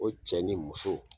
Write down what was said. O cɛ ni muso